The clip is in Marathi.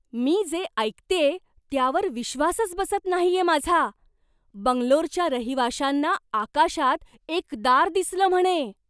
मी जे ऐकतेय त्यावर विश्वासच बसत नाहीये माझा! बंगलोरच्या रहिवाशांना आकाशात एक दार दिसलं म्हणे!